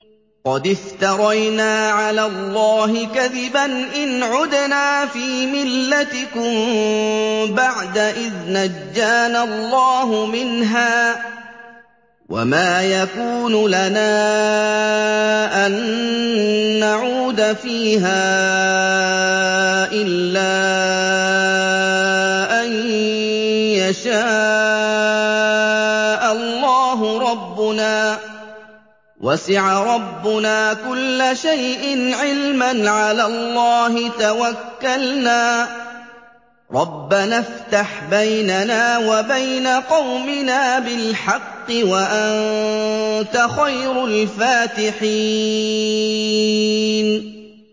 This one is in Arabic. قَدِ افْتَرَيْنَا عَلَى اللَّهِ كَذِبًا إِنْ عُدْنَا فِي مِلَّتِكُم بَعْدَ إِذْ نَجَّانَا اللَّهُ مِنْهَا ۚ وَمَا يَكُونُ لَنَا أَن نَّعُودَ فِيهَا إِلَّا أَن يَشَاءَ اللَّهُ رَبُّنَا ۚ وَسِعَ رَبُّنَا كُلَّ شَيْءٍ عِلْمًا ۚ عَلَى اللَّهِ تَوَكَّلْنَا ۚ رَبَّنَا افْتَحْ بَيْنَنَا وَبَيْنَ قَوْمِنَا بِالْحَقِّ وَأَنتَ خَيْرُ الْفَاتِحِينَ